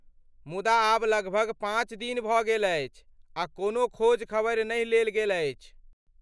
मुदा आब लगभग पाँच दिन भऽ गेल अछि आ कोनो खोज खबरि नहि लेल गेल अछि।